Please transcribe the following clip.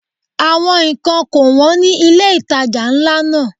Àwọn ǹkan kò wón ní ilé ìtajà ńlá náà.